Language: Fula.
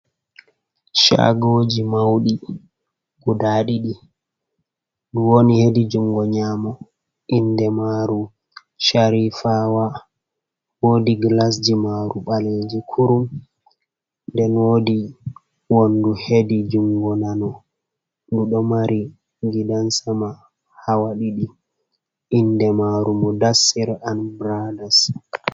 Shagoji mauɗi guda ɗiɗi, ɗi woni hedi jungo nyamo inde maru sharifawa, wodi glasji maru baleji kurum den wodi wondu hedi jungo nano ɗiɗo mari gidansama hawa ɗiɗi inde maru mudassir and brothers.